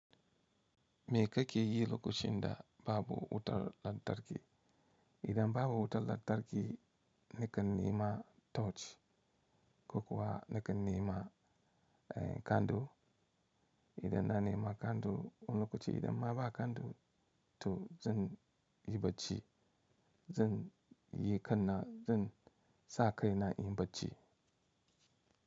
Me kake yi lokacin da babu wutar lantarki? Idan babu wutar lantarki, nakan nema torch. Ko kuwa nakan nema, eh, kandu. Idan na nema kandu, wani lokaci idan ma ba kandu tu, zan yi bacci. Zan yi kanna, zan sa kai na in bacci.